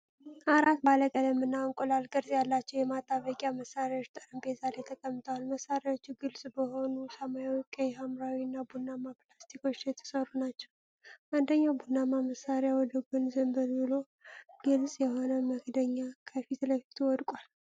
አራት ባለቀለም እና እንቁላል ቅርጽ ያላቸው የማጣበቂያ መሣሪያዎች ጠረጴዛ ላይ ተቀምጠዋል። መሣሪያዎቹ ግልጽ በሆኑ ሰማያዊ፣ ቀይ፣ ሐምራዊ እና ቡናማ ፕላስቲኮች የተሠሩ ናቸው። አንደኛው ቡናማ መሣሪያ ወደ ጎን ዘንበል ብሎ፣ ግልጽ የሆነ መክደኛ ከፊት ለፊቱ ወድቋል።